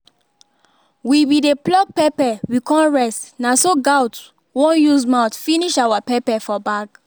we be dey pluck pepper we con rest na so gaot won use mouth finish our pepper for bag